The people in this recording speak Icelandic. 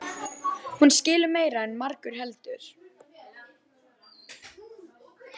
Hún skilur meira en margur heldur.